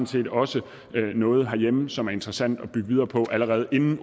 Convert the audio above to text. set også noget herhjemme som er interessant at bygge videre på allerede inden